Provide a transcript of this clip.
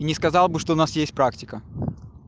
и не сказал бы что у нас есть практика